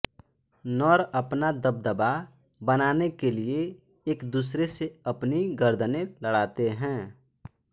नर अपना दबदबा बनाने के लिये एक दूसरे से अपनी गर्दनें लड़ाते हैं